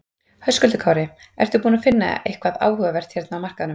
Höskuldur Kári: Ertu búinn að finna eitthvað áhugavert hérna á markaðnum?